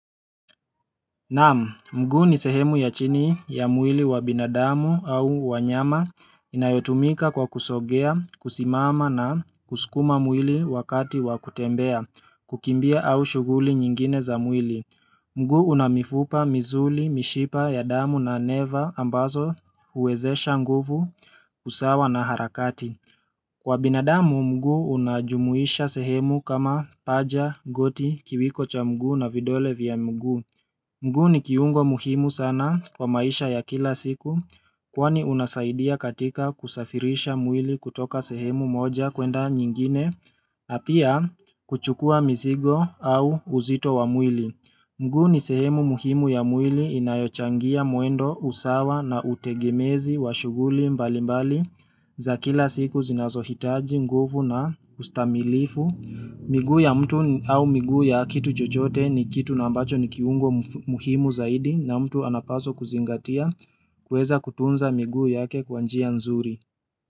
Naamu, mguu ni sehemu ya chini ya mwili wa binadamu au wanyama inayotumika kwa kusongea, kusimama na kusukuma mwili wakati wa kutembea, kukimbia au shuguli nyingine za mwili. Mguu una mifupa, misuli, mishipa ya damu na neva ambazo huwezesha nguvu kusawa na harakati. Kwa binadamu, mguu unajumuisha sehemu kama paja, goti, kiwiko cha mguu na vidole vya mguu. Mguu ni kiungo muhimu sana kwa maisha ya kila siku kwani unasaidia katika kusafirisha mwili kutoka sehemu moja kwenda nyingine na pia kuchukua mzigo au uzito wa mwili. Mguu ni sehemu muhimu ya mwili inayochangia mwendo usawa na utegemezi wa shuguli mbali mbali za kila siku zinazohitaji nguvu na ustamilifu. Miguu ya mtu au miguu ya kitu chochote ni kitu na ambacho ni kiungo muhimu zaidi na mtu anapaswa kuzingatia kuweza kutunza miguu yake kwa njia nzuri.